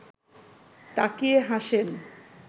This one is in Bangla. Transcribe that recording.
তাকিয়ে হাসেন